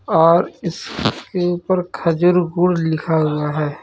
और इसके ऊपर खजूर गुड लिखा हुआ है.